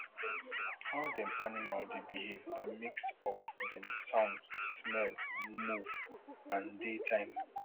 how dem animal dey behave na mix of dem sound smell move and dey time